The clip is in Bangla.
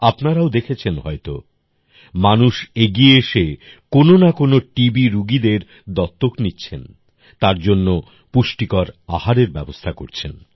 আপনারাও দেখেছেন হয়তো মানুষ এগিয়ে এসে কোনো না কোনো টি বি রুগীদের দত্তক নিচ্ছেন তার জন্য পুষ্টিকর আহারের ব্যবস্থা করছেন